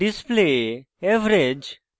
input display